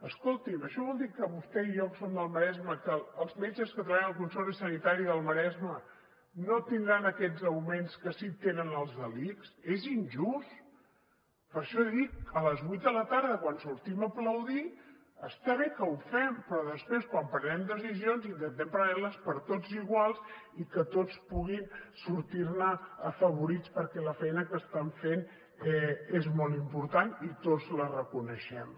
escolti’m això vol dir que vostè i jo que som del maresme que els metges que treballen al consorci sanitari del maresme no tindran aquests augments que sí que tenen els de l’ics és injust per això dic a les vuit de la tarda quan sortim a aplaudir està bé que ho fem però després quan prenem decisions intentem prendre les per a tots igual i que tots puguin sortir ne afavorits perquè la feina que estan fent és molt important i tots la reconeixem